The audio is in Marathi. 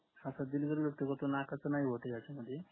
हा sir दिलगिरी व्यक्त करतो नकाच नाय होते ह्यांच्यामध्ये